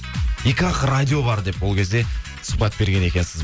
екі ақ радио бар деп ол кезде сұхбат берген екенсіз